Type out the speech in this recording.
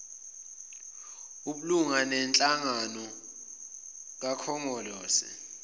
obulunga benhlangano kakhongolose